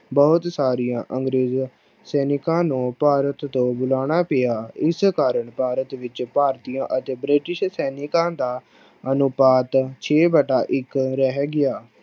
ਬਹੁਤ ਸਾਰੀਆਂ ਅੰਗਰੇਜ਼ ਸੈਨਿਕਾਂ ਨੂੰ ਭਾਰਤ ਤੋਂ ਬੁਲਾਉਣਾ ਪਿਆ, ਇਸ ਕਾਰਨ ਭਾਰਤ ਵਿੱਚ ਭਾਰਤੀਆਂ ਅਤੇ ਬ੍ਰਿਟਿਸ਼ ਸੈਨਿਕਾਂ ਦਾ ਅਨੁਪਾਤ ਛੇ ਵਟਾ ਇੱਕ ਰਹਿ ਗਿਆ।